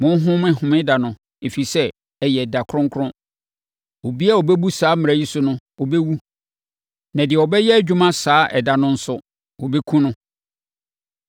“ ‘Monhome homeda no, ɛfiri sɛ, ɛyɛ ɛda kronkron. Obiara a ɔbɛbu saa mmara yi so no, ɔbɛwu. Na deɛ ɔbɛyɛ adwuma saa ɛda no nso, wɔbɛkum no.